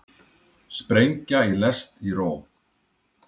Sprengja í lest í Róm